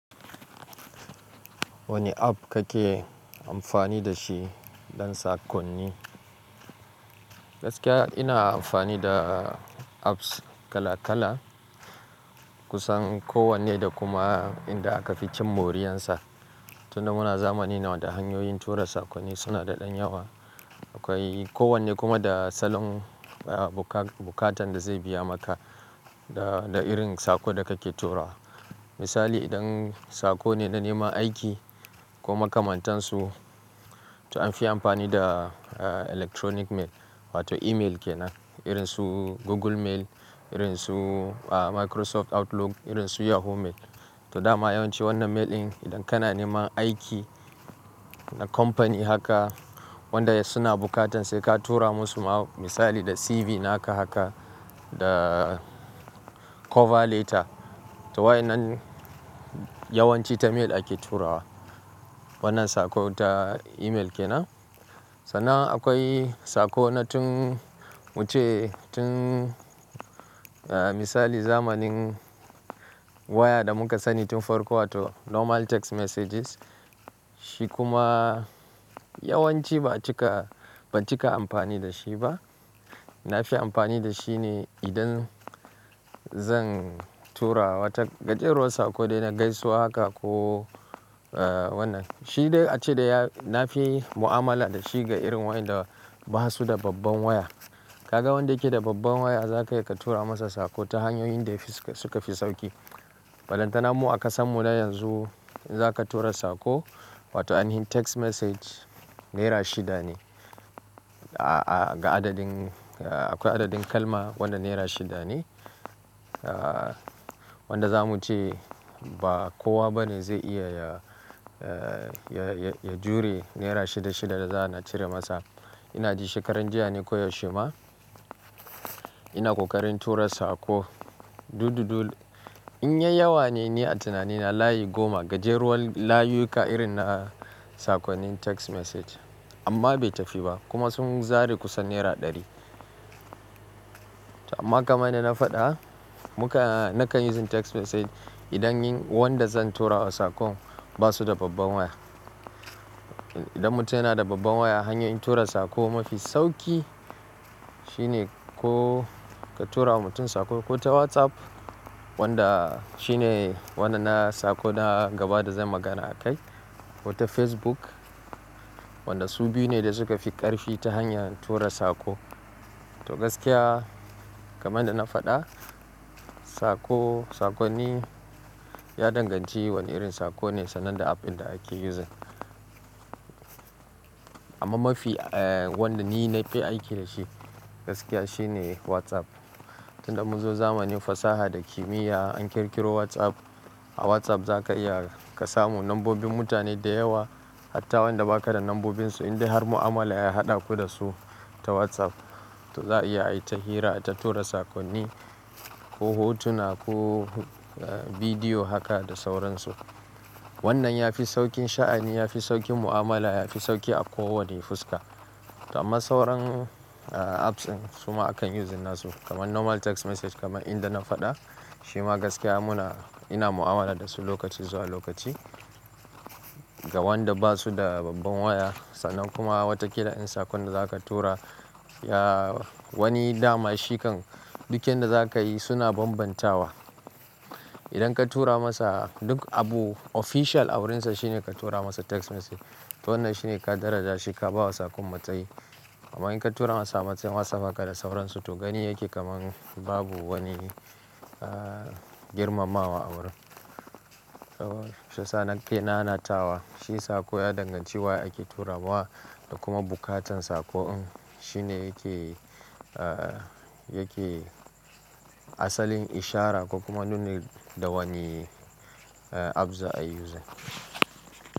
Wane app kake amfani da shi don sakonni? Gaskiya ina amfani da apps kala-kala kusan kowanne da kuma inda aka fi cin moriyarsa. Tunda muna zamanin da hanyoyin tura sakonni suna da ɗan yawa. Akwai kowanne kuma da salon, ah, buka-bukatan da zai biya maka da, da irin sako da kake turawa. Misali idan sako ne na neman aiki ko makamantansu to an fi amfani da electronic mail wato email ke nan. Irin su Google Mail, irin su Microsoft Outlook, irin su Yahoo Mail. To dama yawanci wannan mail ɗin idan kana neman aiki na company haka wanda suna bukatan sai ka tura masu ma misali da CV naka haka da cover letter. To waɗannan yawanci ta mail ake turawa wannan sako ta email ke nan. Sannan akwai sako na tun muke tun, ah, misali zamanin waya da muka sani tun farko wato normal text messages. Shi kuma yawanci ba cika, ba cika amfani da shi ba. Na fi amfani da shi ne idan zan tura wata gajeren sako dai na gaisuwa haka ko, eh, wannan. Shi dayace da ya-- nafi mu'amala da shi ga irin wanda basu da babban waya. Kaga wanda yake da babban waya zakayi ka tura masa sako ta hanyoyin da fi, su ka fi sauki. Falantana mu a ƙasan mu na yanzu in zaka tura sako wato anihin text message naira shida ne. A-a ga adadin, akwai adadin kalma wanda naira shida ne. Ah, wanda zamu ce ba kowa bane zai iya ya, ya, ya jure naira shida shida da za a na cire masa. Ina ji shekaran jiya ne ko yaushe ma ina ƙoƙarin tura sako, dudud. In yayi yawa ne ni a tunani na layi goma gajeruwan layuka irin na sakonnin text message amma bai tafi ba kuma sun zare kusan naira ɗari. To amma kamar na faɗa muka, na kan yin text message idan wanda zan tura masa sakon basu da babban waya. Idan mutum yana da babban waya hanyar tura sako mafi sauki shine ko ka tura wa mutum sako ko ta WhatsApp wanda shine wanda na sako na gaba da zai magana a kai ko ta Facebook. Wanda su biyu ne da suka fi ƙarfi ta hanyar tura sako. To gaskiya kamar da na faɗa sako, sakonni ya danganci wane irin sako ne sannan da app ɗin da ake yin shi. Amma mafi, eh, wanda ni na fi aiki da shi gaskiya shine WhatsApp. Tunda mun zo zamanin fasaha da kimiyya an ƙirƙiro WhatsApp. A WhatsApp zaka iya ka samu lambobin mutane da yawa hatta wanda ba ka da lambobinsu in dai har mu'amala ya haɗa ku da su ta WhatsApp. To za'a iya a yi ta hira, ta tura sakonni ko hotuna ko bidiyo haka da sauransu. Wannan ya fi sauƙin sha'ani, ya fi sauƙin mu'amala, ya fi sauƙin a kowane fuska. Amma sauran apps ɗin suma akan yin suna su kamar normal text message kamar inda na faɗa. Shi ma gaskiya muna, ina mu'amala da su lokaci zuwa lokaci ga wanda basu da babban waya. Sannan kuma wataƙila in sakon da zaka tura ya wani dama, shekan duk yin da zaka yi suna bambantawa. Idan ka tura masa duk abu official a wurinsa shine ka tura masa text message. To wannan shine ka daraja shi ka bawa sakon matsayi. Amma in ka tura masa ta WhatsApp haka da sauransu to gani yake kamar babu wani, ah, girmamawa a wurin. To sannan ke nanatawa shi sako ya danganci wa ake turawa da kuma bukatan sako'n shine yake, ah, yake asalin ishara kuma dole da wane app za'a yi zu.